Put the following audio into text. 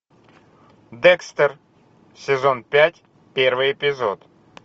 декстер сезон пять первый эпизод